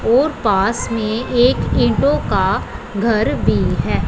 और पास में एक ईंटों का घर भी है।